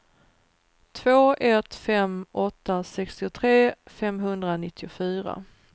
två ett fem åtta sextiotre femhundranittiofyra